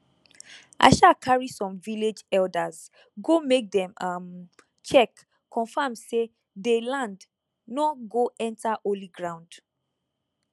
i um carry some village elders go make dem um check confirm say dey land nor go enter holy ground